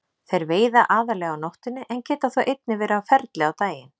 Þeir veiða aðallega á nóttunni en geta þó einnig verið á ferli á daginn.